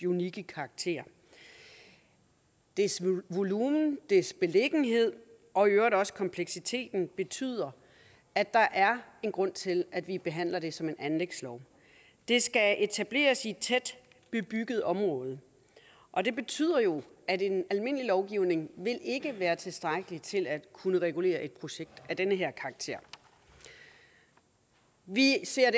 unikke karakter dets volumen dets beliggenhed og i øvrigt også kompleksiteten betyder at der er en grund til at vi behandler det som en anlægslov det skal etableres i et tæt bebygget område og det betyder jo at en almindelig lovgivning ikke vil være tilstrækkelig til at kunne regulere et projekt af den her karakter vi ser